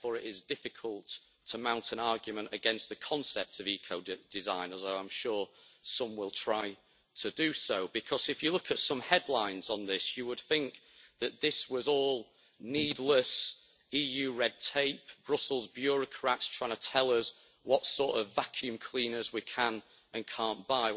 Therefore it is difficult to mount an argument against the concept of ecodesign, as I am sure some will try to do because if you look at some headlines on this you would think that this was all needless EU red tape, Brussels bureaucrats trying to tell us what sort of vacuum cleaners we can and can't buy.